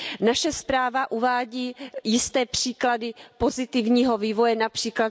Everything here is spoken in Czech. Naše zpráva uvádí jisté příklady pozitivního vývoje, např.